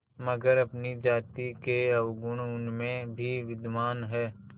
मगर अपनी जाति के अवगुण उनमें भी विद्यमान हैं